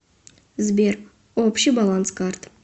сбер общий баланс карт